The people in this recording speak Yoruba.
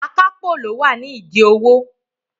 Akápò ló wà ní ìdí owó.